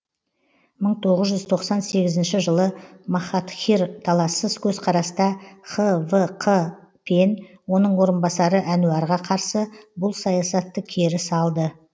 мың тоғыз жүз тоқсан сегізінші жылы махатхир талассыз көзқараста хвқ пен оның орынбасары әнуәрға қарсы бұл саясатты кері салды